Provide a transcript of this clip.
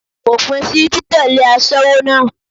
Fòpin sí títẹ̀lé aṣẹ́wó náà.